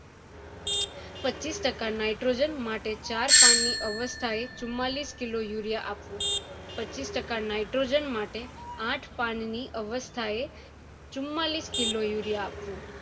પચીસ ટકા nitrogen માટે ચાર પણ ની અવસ્થા એ ચુમ્માલીસ kilo urea આપવું પચીસ ટકા nitrogen માટે આઠ પાન ની અવસ્થા એ ચુમ્માલીસ kilo urea આપવું